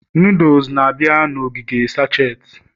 noodles na-abịa na ogige sacheti